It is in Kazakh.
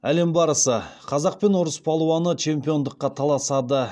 әлем барысы қазақ пен орыс палуаны чемпиондыққа таласады